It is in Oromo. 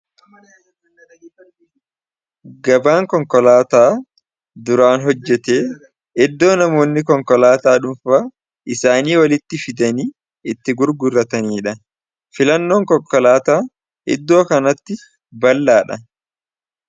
Gabaan konkolaataa duraan hojjate iddoo namoonni konkolaataa isaanii walitti fidanii itti gurgurataniidha. filannoon konkolaataa iddoo kanatti bal'aa dha.